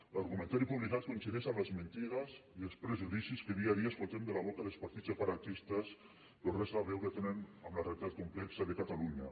l’argumentari publicat coincideix amb les mentides i els prejudicis que dia a dia escoltem de la boca dels partits separatistes però res a veure tenen amb la realitat complexa de catalunya